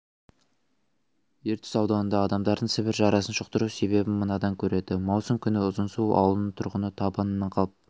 ертіс ауданында адамдардың сібір жарасын жұқтыру себебін мынадан көреді маусым күні ұзынсу ауылының тұрғыны табыннан қалып